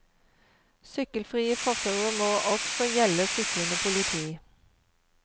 Sykkelfrie fortauer må også gjelde syklende politi.